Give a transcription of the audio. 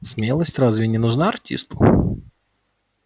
смелость разве не нужна артисту